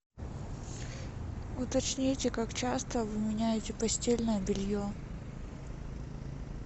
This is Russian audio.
уточните как часто вы меняете постельное белье